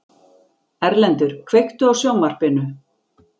Erlendur, kveiktu á sjónvarpinu.